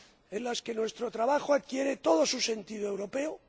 en las que nuestro trabajo adquiere todo su sentido europeo.